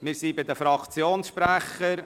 Wir sind bei den Fraktionssprechern.